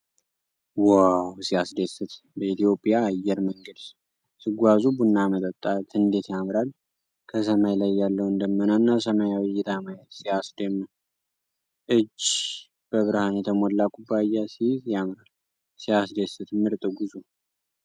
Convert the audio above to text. ዋው! ሲያስደስት! በእትዮጵያ አየር መንገድ ሲጓዙ ቡና መጠጣት እንዴት ያምራል! ከሰማይ ላይ ያለውን ደመናና ሰማያዊ እይታ ማየት ሲያስደምም! እጅ በብርሃን የተሞላ ኩባያ ሲይዝ ያምራል። ሲያስደስት! ምርጥ ጉዞ!